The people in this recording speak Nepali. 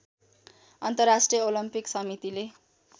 अन्तर्राष्ट्रिय ओलम्पिक समितिले